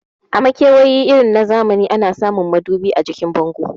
A makewayi irin zamani ana samun madubi a jikin bango